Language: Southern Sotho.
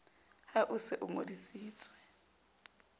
ha o se o ngodisitswe